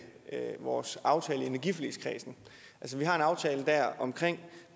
vores aftale i energiforligskredsen vi har en aftale dér om